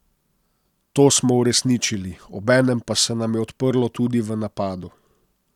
To smo uresničili, obenem pa se nam je odprlo tudi v napadu.